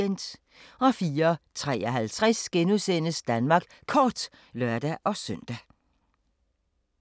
04:53: Danmark Kort *(lør-søn)